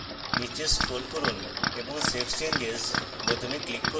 নীচে scroll করুন এবং save changes বোতামে click করুন